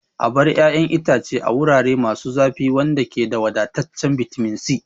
Abarba ƴaƴan itace ce na wurare masu zafi wanda ke da wadataccen bitamin C.